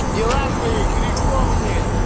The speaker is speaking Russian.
дела твои греховные